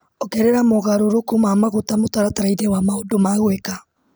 Ongerera mogarũrũku ma maguta mũtaratara-inĩ wa maũndũ ma gwĩka .